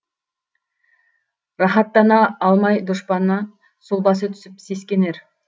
рахаттана алмай дұшпаны сұлбасы түсіп сескенер